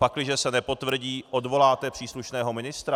Pakliže se nepotvrdí, odvoláte příslušného ministra?